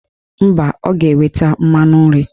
Mba, ọ ga-eweta mmanụ nri